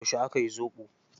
Yauce aka yi zoɓo?